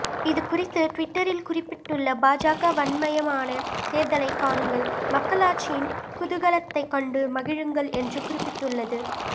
இதுகுறித்து டிவிட்டரில் குறிப்பிட்டுள்ள பாஜக வண்ணமயமான தேர்தலை காணுங்கள் மக்களாட்சியின் குதூகலத்தை கண்டு மகிழுங்கள் என்று குறிப்பிட்டுள்ளது